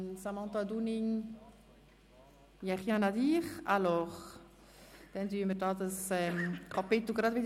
Daher schliessen wir dieses Traktandum gleich wieder.